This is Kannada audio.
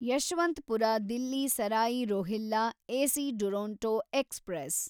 Yeshwanthpur Delhi Sarai Rohilla AC Duronto express